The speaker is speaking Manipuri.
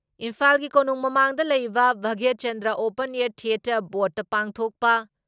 ꯏꯝꯐꯥꯜꯒꯤ ꯀꯣꯅꯨꯡ ꯃꯃꯥꯡꯗ ꯂꯩꯕ ꯚꯥꯒ꯭ꯌꯆꯟꯗ꯭ꯔ ꯑꯣꯄꯟ ꯑꯦꯌꯥꯔ ꯊꯤꯌꯦꯇꯔ ꯕꯣꯗꯇ ꯄꯥꯡꯊꯣꯛꯄ